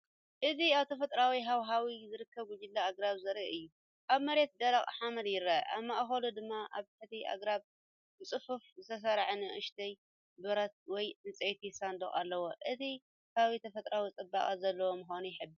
እዚ ኣብ ተፈጥሮኣዊ ሃዋህው ዝርከቡ ጉጅለ ኣግራብ ዘርኢ እዩ። ኣብ መሬት ደረቕ ሓመድ ይርአ፣ ኣብ ማእከሉ ድማ ኣብ ትሕቲ ኣግራብ ብጽፉፍ ዝተሰርዑ ንኣሽቱ ብረት ወይ ዕንጨይቲ ሳንዱቕ ኣለዉ። እቲ ከባቢ ተፈጥሮኣዊ ጽባቐ ዘለዎምዃኑ ይሕብር።